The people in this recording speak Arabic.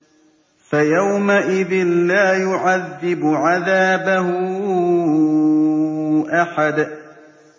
فَيَوْمَئِذٍ لَّا يُعَذِّبُ عَذَابَهُ أَحَدٌ